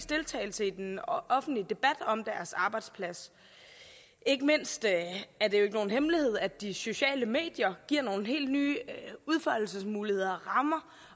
deltagelse i den offentlige debat om deres arbejdsplads ikke mindst er det ikke nogen hemmelighed at de sociale medier giver nogle helt nye udfoldelsesmuligheder og rammer